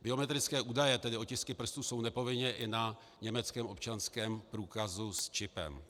Biometrické údaje, tedy otisky prstů, jsou nepovinně i na německém občanském průkazu s čipem.